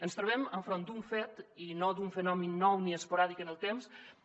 ens trobem enfront d’un fet i no d’un fenomen nou ni esporàdic en el temps